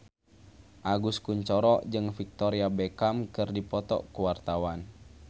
Agus Kuncoro jeung Victoria Beckham keur dipoto ku wartawan